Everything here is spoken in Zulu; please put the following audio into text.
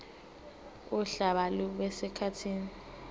uhlaka lube sekhasini